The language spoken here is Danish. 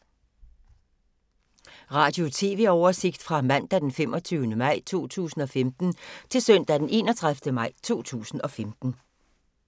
Radio/TV oversigt fra mandag d. 25. maj 2015 til søndag d. 31. maj 2015